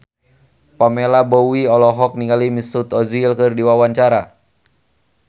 Pamela Bowie olohok ningali Mesut Ozil keur diwawancara